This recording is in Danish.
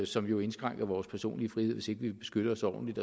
som jo indskrænker vores personlige frihed hvis vi vil beskytte os ordentligt